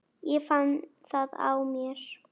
Ég fann það á mér.